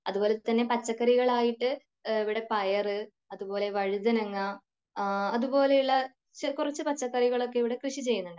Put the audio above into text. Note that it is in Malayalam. അതുപോലെ തന്നെ പച്ചക്കറികൾ ആയിട്ട് ഇവിടെ പയർ, അതുപോലെ വഴുതനങ്ങ അതുപോലുള്ള കുറച്ചു പച്ചക്കറികൾ ഒക്കെ ഇവിടെ കൃഷി ചെയ്യുന്നുണ്ട്.